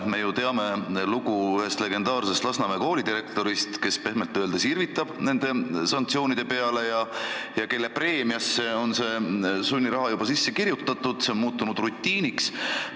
Me ju teame lugu ühest legendaarsest Lasnamäe koolidirektorist, kes pehmelt öeldes irvitab nende sanktsioonide peale ja kelle preemiasse on sunniraha juba sisse kirjutatud, see on muutunud rutiiniks.